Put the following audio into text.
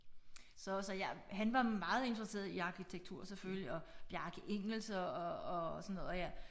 Så og så jeg han var meget interesseret i arkitektur selvfølgelig og Bjarke Ingels og og og sådan noget og jeg